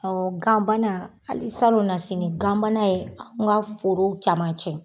Ɔ gan bana ali salonnasini , gan bana ye an ka foro caman cɛ.